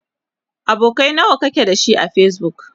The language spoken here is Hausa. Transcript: abokanai nawa kike da shi a facebook?